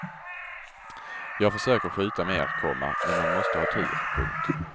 Jag försöker skjuta mer, komma men man måste ha tur. punkt